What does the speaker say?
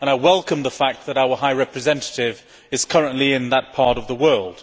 I welcome the fact that our High Representative is currently in that part of the world.